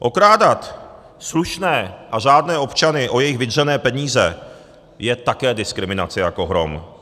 Okrádat slušné a řádné občany o jejich vydřené peníze je také diskriminace jako hrom.